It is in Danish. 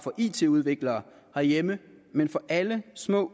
it udviklere herhjemme men for alle små